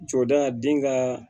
Jɔda den ka